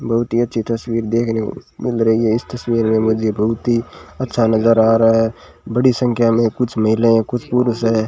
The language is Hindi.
बहुत ही अच्छी तस्वीर देखने को मिल रही है इस तस्वीर में मुझे बहुत ही अच्छा नजर आ रहा है बड़ी संख्या में कुछ महिला है कुछ पुरुष है।